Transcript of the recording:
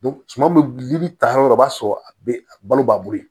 suma bɛ gili ta yɔrɔ o b'a sɔrɔ a balo b'a bolo